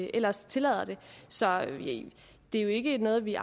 ellers tillader det så det er jo ikke noget vi